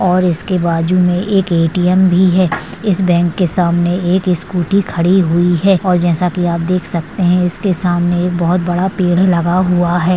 और इसके बाजू मे के ए_टी_एम भी है इस बँक के सामने एक स्कूटी खड़ी हुई है और जैसा की आप देख सकते है इसके सामने एक बहुत बड़ा पेड लगा हुआ है।